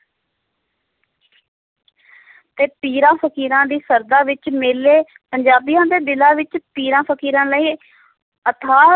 ਤੇ ਪੀਰਾਂ ਫ਼ਕੀਰਾਂ ਦੀ ਸ਼ਰਧਾ ਵਿੱਚ ਮੇਲੇ ਪੰਜਾਬੀਆਂ ਦੇ ਦਿਲਾਂ ਵਿੱਚ ਪੀਰਾਂ ਫ਼ਕੀਰਾਂ ਲਈ ਅਥਾਹ,